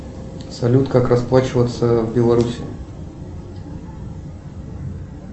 салют как расплачиваться в белоруссии